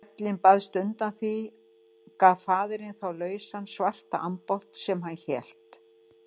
Þrællinn baðst undan því og gaf faðirinn þá lausa svarta ambátt sem hann hélt.